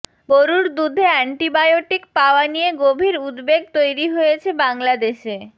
গরুর দুধে অ্যান্টিবায়োটিক পাওয়া নিয়ে গভীর উদ্বেগ তৈরি হয়েছে বাংলাদেশে